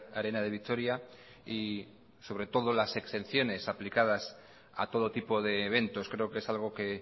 arena de vitoria y sobre todo las extensiones aplicadas a todo tipo de eventos creo que es algo que